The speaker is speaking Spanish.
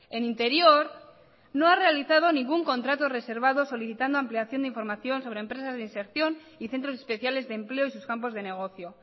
en interior no ha realizado ningún contrato reservado solicitando ampliación de información sobre empresas de inserción y centros especiales de empleo y sus campos de negocio